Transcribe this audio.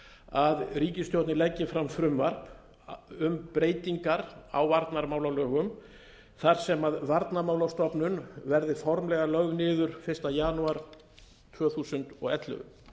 að ríkisstjórnin leggi fram frumvarp um breytingar á varnarmálalögum þar sem varnarmálastofnun verði formlega lögð niður fyrsta janúar tvö þúsund og ellefu